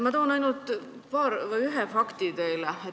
Ma toon teile ainult ühe fakti.